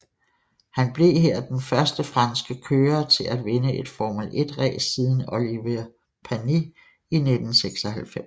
Han blev her den første franske kørere til at vinde et Formel 1 ræs siden Olivier Panis i 1996